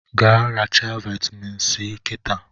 Gaa rechaa vitamin si kịtaa